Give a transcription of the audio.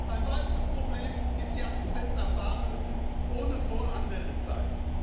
Ein weiteres Problem ist die Assistenz an Bahnhöfen, ohne Voranmeldezeit.